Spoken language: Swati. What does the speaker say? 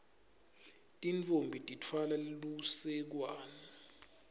tintfombi titfwale lusekwane